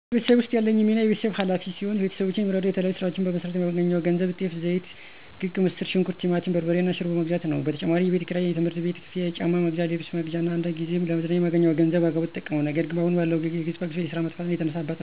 እኔ በቤተሰቤ ውስጥ ያለኝ ሚና የቤተሰብ ኋላፊ ሲሆን፤ ቤተሰቦቼን የምረደዉ የተለያዩ ስራዎችን በመስራት የማገኘውን ገንዘብ ጤፍ፣ ዘይት፣ ክክ፣ ምስር ሽንኩርት፣ ቲማቲም በርበሬ እና ሽሮ በመግዛት ነው። በተጨማሪም የቤት ክራይ፣ የትምህርት ቤት ክፍያ፣ የጫማ መግዣ፣ የልብስ መግዣ እና አንዳንድ ጊዜ ደግሞ ለመዝናኛ የማገኘዉን ገንዘብ በአግባቡ እጠቀማለሁ። ነገር ግን አሁን ባለው የዋጋ ግሽፈት እና የስራ መጥፋት የተነሳ እናት፣ አባት፣ እህት እና ወንድሞቼን እንኳን ልረዳቸው ከእነሱ እርዳታ እየጠየኩ እገኛለሁ።